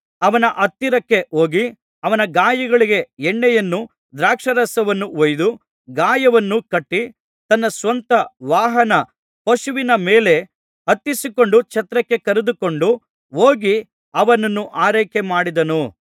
ಅವನ ಹತ್ತಿರಕ್ಕೆ ಹೋಗಿ ಅವನ ಗಾಯಗಳಿಗೆ ಎಣ್ಣೆಯನ್ನೂ ದ್ರಾಕ್ಷಾರಸವನ್ನೂ ಹೊಯ್ದು ಗಾಯವನು ಕಟ್ಟಿ ತನ್ನ ಸ್ವಂತ ವಾಹನ ಪಶುವಿನ ಮೇಲೆ ಹತ್ತಿಸಿಕೊಂಡು ಛತ್ರಕ್ಕೆ ಕರೆದುಕೊಂಡು ಹೋಗಿ ಅವನನ್ನು ಆರೈಕೆಮಾಡಿದನು